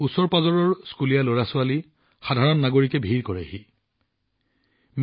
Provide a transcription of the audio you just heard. ওচৰৰ স্কুলীয়া লৰাছোৱালী সাধাৰণ নাগৰিকএই ধুনীয়া ঠাইখন চাবলৈ ব্যাপক ভিৰ কৰে